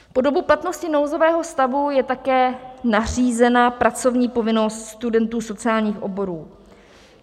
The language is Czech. Po dobu platnosti nouzového stavu je také nařízena pracovní povinnost studentů sociálních oborů.